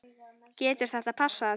Getur þetta passað?